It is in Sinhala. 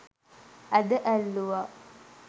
ඇද ඇල්ලුවා.